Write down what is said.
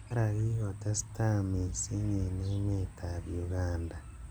Nyara kikotestai missing eng emet ab Uganda.